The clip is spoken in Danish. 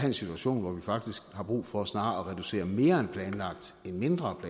en situation hvor vi faktisk har brug for snarere at reducere mere end planlagt end mindre